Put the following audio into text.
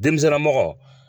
Denmisɛnna mɔgɔ.